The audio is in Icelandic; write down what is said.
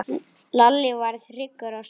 Lalli varð hryggur á svip.